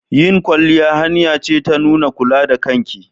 Yin kwalliya hanya ce ta nuna kula da kanki.